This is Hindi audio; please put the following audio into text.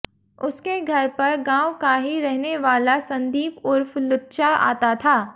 उसके घर पर गांव का ही रहने वाला संदीप उर्फ लुच्चा आता था